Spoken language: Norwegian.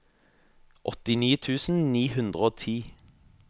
åttini tusen ni hundre og ti